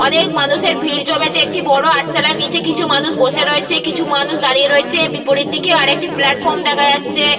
অনেক মানুষের ভিড় জমেছে একটি বড় আটচালার নিজের কিছু মানুষ বসে রয়েছে কিছু মানুষ দাঁড়িয়ে রয়েছে বিপরীত দিকেও আরেকটি প্ল্যাটফর্ম দেখা যাচ্ছে।